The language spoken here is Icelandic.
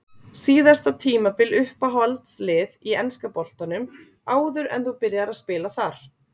Síðasta tímabil Uppáhalds lið í enska boltanum áður en þú byrjaðir að spila þar?